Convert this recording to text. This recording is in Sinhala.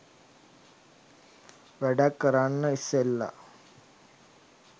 වැඩක් කරන්න ඉස්සෙල්ල